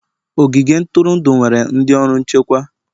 Ogige ntụrụndụ nwere ndị ọrụ nchekwa.